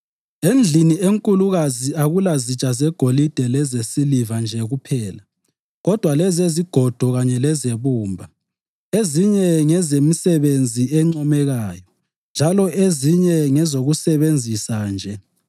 Endlini enkulukazi akulazitsha zegolide lezesiliva nje kuphela kodwa lezezigodo kanye lezebumba; ezinye ngezemisebenzi encomekayo njalo ezinye ngezokusebenzisa nje.